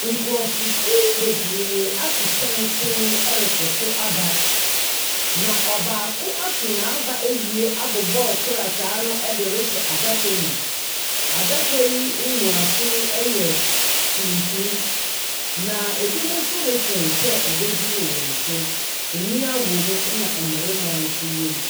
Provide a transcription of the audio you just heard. Nkurɔfokuw bebree ato santen rekɔtow aba. Na ɔbaako ato n'aba awie abobɔ krataa no de rehyɛ adaka mu. Adaka yi mmuaso yɛ a tuntum, na ebinom nso retwɛn sɛ ɛbɛduru wɔn so. Mmea wɔ mu, ɛna mmarima nso wɔ mu.